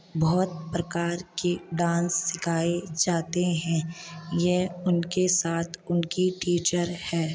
बहुत प्रकार के डांस सिखाए जाते है यह उनके साथ उनकी टीचर है।